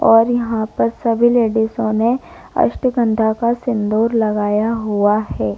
और यहाँ पर सभी लेडिसों ने अश्वगंधा का सिंदूर लगाया हुआ है।